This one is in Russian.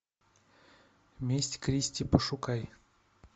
месть кристи пошукай